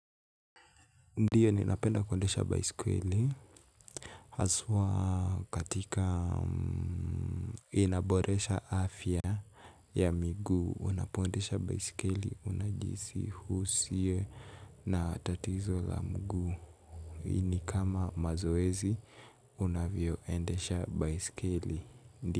Ndio ninapenda kuendesha baiskeli haswaa katika inaboresha afya ya miguu unapoendesha baiskeli unajihisi husiye na tatizo la mguu. Hii ni kama mazoezi unavyoendesha baiskeli.